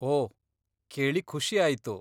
ಓಹ್, ಕೇಳಿ ಖುಷಿ ಆಯ್ತು.